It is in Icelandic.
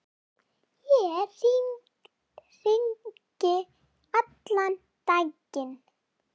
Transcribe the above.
Ég hringi allan daginn.